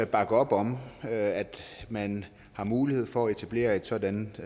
bakke op om at man har mulighed for at etablere et sådant